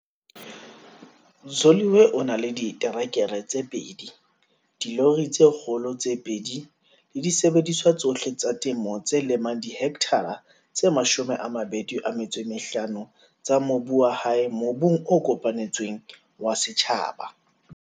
Zoliwe o na le diterekere tse pedi, dilori tse kgolo tse pedi le disebediswa tsohle tsa temo tse lemang dihekthara tse 25 tsa mobu wa hae mobung o kopanetsweng wa setjhaba.